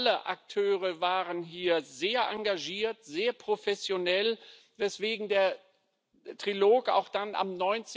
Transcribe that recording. Alle Akteure waren hier sehr engagiert, sehr professionell, weswegen der Trilog auch dann am